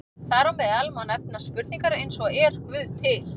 Þar á meðal má nefna spurningar eins og Er Guð til?